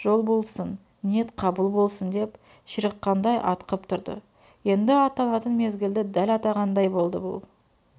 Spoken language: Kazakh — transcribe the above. жол болсын ниет қабыл болсын деп ширыққандай атқып тұрды еңді аттанатын мезгілді дәл атағандай болды бұл